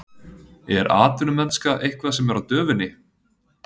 Er atvinnumennska eitthvað sem er á döfinni?